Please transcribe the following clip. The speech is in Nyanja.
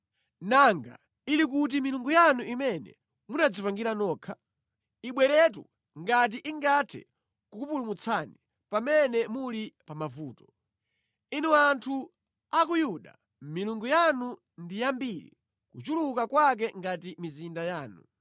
Nanga ili kuti milungu yanu imene munadzipangira nokha? Ibweretu ngati ingathe kukupulumutsani pamene muli pamavuto! Inu anthu a ku Yuda, milungu yanu ndi yambiri kuchuluka kwake ngati mizinda yanu.